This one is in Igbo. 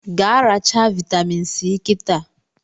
Gaa rechaa vitamin si kịtaa